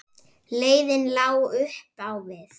Leiðin lá upp á við.